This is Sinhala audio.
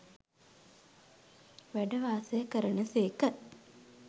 වැඩ වාසය කරන සේක.